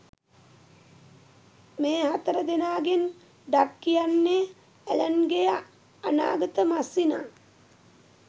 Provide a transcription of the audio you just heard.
මේ හතරදෙනාගෙන් ඩග් කියන්නේ ඇලන්ගේ අනාගත මස්සිනා